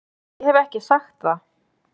Ég hef ekki sagt það!